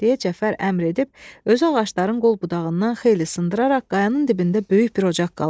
deyə Cəfər əmr edib, özü ağacların qol budağından xeyli sındıraraq qayanın dibində böyük bir ocaq qaladı.